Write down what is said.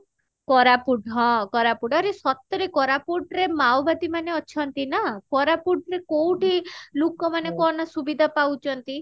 କୋରାପୁଟ ହଁ କୋରାପୁଟ ଆରେ ସତରେ କୋରାପୁଟ ରେ ମାଓବାଦୀ ମାନେ ଅଛନ୍ତି ନା କୋରାପୁଟ ରେ କଉଠି ଲୁକ ମାନେ କହନା ସୁବିଧା ପାଉଛନ୍ତି